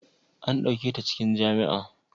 an dauke ta cikin jami'a?